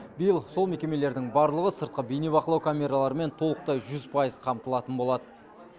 биыл сол мекемелердің барлығы сыртқы бейнебақылау камераларымен толықтай жүз пайыз қамтылатын болады